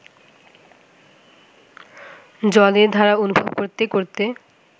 জলের ধারা অনুভব করতে করতে